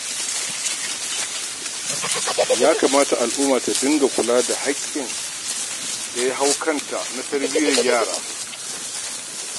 Ya kamata al'umma ta dinga kulawa da hakkin da ya hau kanta na tarbiyyar yara